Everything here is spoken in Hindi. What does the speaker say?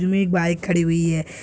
बाइक खड़ी हुई है।